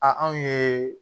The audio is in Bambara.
A anw ye